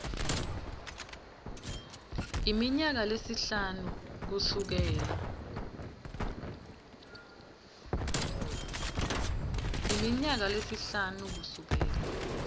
iminyaka lesihlanu kusukela